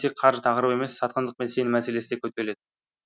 тек қаржы тақырыбы емес сатқындық пен сенім мәселесі де көтеріледі